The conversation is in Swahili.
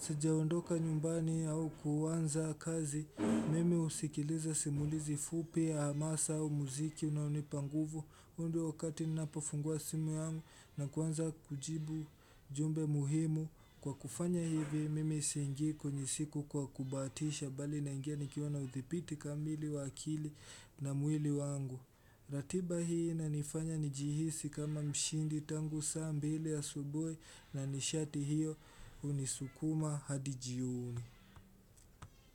sijaondoka nyumbani au kuanza kazi, mimi usikiliza simulizi fupi, amasa au muziki unaunipanguvu undi wakati nina pofungua simu yangu na kuwanza kujibu jumbe muhimu. Kwa kufanya hivi, mimi isingi kwenye siku kwa kubatisha bali na ingia nikiona uthipiti kamili wakili na mwili wangu. Ratiba hii na nifanya nijihisi kama mshindi tangu saa mbili ya asubuhi na nishati hiyo unisukuma hadijioni.